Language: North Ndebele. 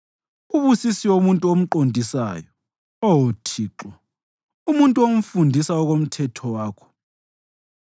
Ubusisiwe umuntu omqondisayo, Oh Thixo, umuntu omfundisa okomthetho wakho;